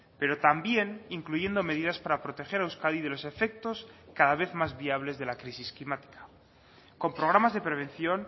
pero también incluyendo medidas para proteger a euskadi de los efectos cada vez más viables de la crisis climática con programas de prevención